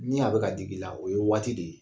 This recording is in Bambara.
Ni a bɛ ka digi i la o ye waati de ye